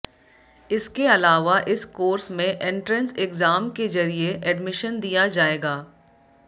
इसके अलावा इस कोर्स में एंट्रेंस एग्जाम के जरिये एडमिशन दिया जायेगा